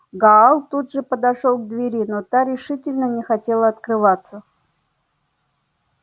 гаал тут же подошёл к двери но та решительно не хотела открываться